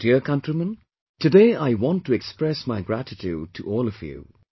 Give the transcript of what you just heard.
My dear countrymen, today I want to express my gratitude to all of you